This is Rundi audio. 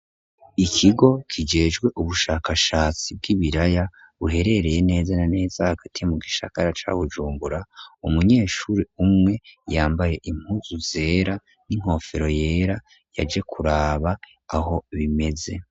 Ikigo kijejwe ubushakashatsi bw'ibiraya, buherereye neza na neza hagati mu gisagara ca Bujunbura, umunyeshuri umwe yambaye impuzu zera n'inkofero yera, yaje kuraba aho bimeze.